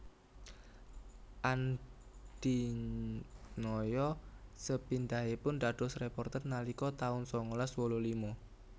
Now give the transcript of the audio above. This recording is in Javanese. Andy Noya sepindhaipun dados réporter nalika taun sangalas wolu lima